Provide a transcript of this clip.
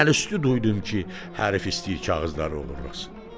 Mən əlüstü duydum ki, hərfi istəyir kağızları oğurlasın.